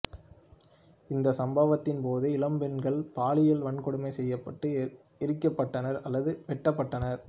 இந்த சம்பவத்தின் போது இளம்பெண்கள் பாலியல் வன்கொடுமை செய்யப்பட்டு எரிக்கப்பட்டனர் அல்லது வெட்டப்பட்டனர்